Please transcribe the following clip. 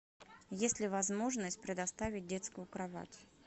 есть ли возможность предоставить детскую кровать